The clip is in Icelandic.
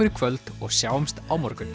í kvöld og sjáumst á morgun